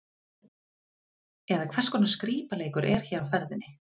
Eða hvers konar skrípaleikur er hér á ferðinni?